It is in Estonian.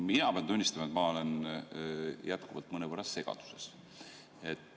Mina pean tunnistama, et ma olen jätkuvalt mõnevõrra segaduses.